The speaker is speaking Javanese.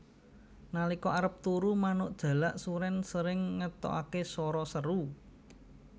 Nalika arep turu manuk jalak surèn sering ngetokaké swara seru